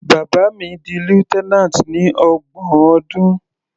Bàbá mi di lieutenant ní ọgbọ̀n ọdún.